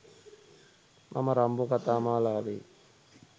මම රම්බෝ කතා මාලාවේ